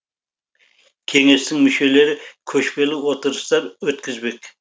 кеңестің мүшелері көшпелі отырыстар өткізбек